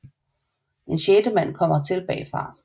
En sjette mand kommer til bagfra